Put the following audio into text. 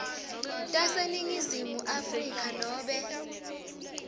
taseningizimu afrika nobe